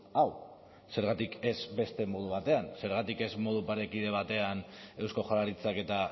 hau zergatik ez beste modu batean zergatik ez modu parekide batean eusko jaurlaritzak eta